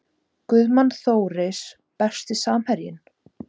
Guðmann Þóris Besti samherjinn?